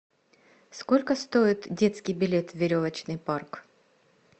сколько стоит детский билет в веревочный парк